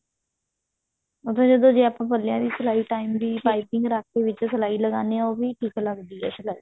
ਮਤਲਬ ਜਦੋਂ ਜੇ ਆਪਾਂ ਪੱਲੇ ਦੀ ਸਲਾਈ time ਦੀ ਪਾਈਪਿੰਨ ਰੱਖ ਕੇ ਵਿੱਚ ਸਲਾਈ ਲਗਾਉਂਦੇ ਹਾਂ ਉਹ ਵੀ ਠੀਕ ਲੱਗਦੀ ਹੈ ਸਲਾਈ